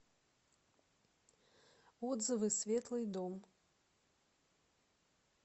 отзывы светлый дом